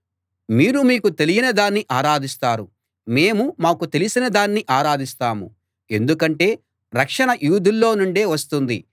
మీరు మీకు తెలియని దాన్ని ఆరాధిస్తారు మేము మాకు తెలిసిన దాన్ని ఆరాధిస్తాము ఎందుకంటే రక్షణ యూదుల్లో నుండే వస్తుంది